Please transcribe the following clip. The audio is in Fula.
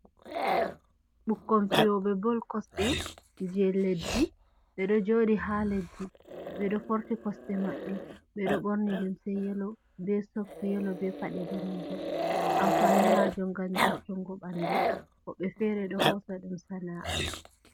Ɓukkon fijoɓe bol kosɗe je leddi, ɓe ɗo joɗi ha leddi ɓe ɗo forti kosɗe maɓɓe, ɓeɗo ɓorni limse yelo, be sok yelo, be paɗe denejum, amfani majum ngam jartungo ɓanɗu, woɓɓe fere ɗo hosa ɗum sana'a.